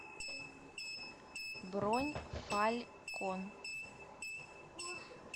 бронь фалькон